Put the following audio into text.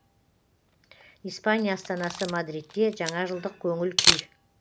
испания астанасы мадридте жаңажылдық көңіл күй